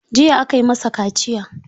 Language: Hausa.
Jiya aka yi masa kaciya.